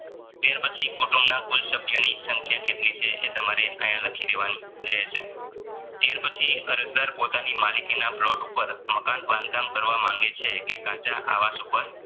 ત્યાર પછી કુટુંબના કુલ સભ્યો ની સંખ્યા કેટલી છે એ તમારે આયા લખી દેવાની રહેશે ત્યાર પછી અરજદાર પોતાની માલિકીના plot ઉપર બાંધકામ કરવા માંગે છે કે આવાસ ઉપર